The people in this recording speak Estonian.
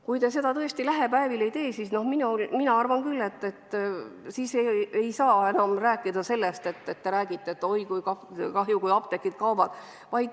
Kui te seda lähipäevil ei tee, siis mina arvan küll, et te ei saa enam rääkida, et oi, küll on kahju, kui apteegid kaovad.